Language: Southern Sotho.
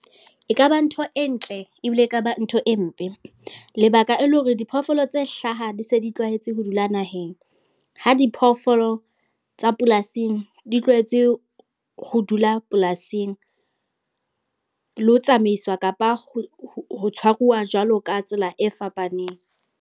E kaba ntho e ntle ebile e kaba ntho e mpe. Lebaka e le hore diphoofolo tse hlaha di se di tlwaetse ho dula naheng. Ha diphoofolo tsa polasing di tlwaetse ho dula polasing. Le ho tsamaiswa, kapa ho tshwaruwa jwalo ka tsela e fapaneng.